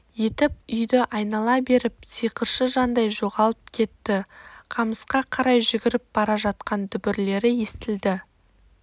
етіп үйді айнала беріп сиқыршы жандай жоғалып кетті қамысқа қарай жүгіріп бара жатқан дүбірлері естілді